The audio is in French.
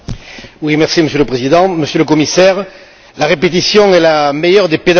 Monsieur le Président, Monsieur le Commissaire, la répétition est la meilleure des pédagogies.